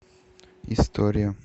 история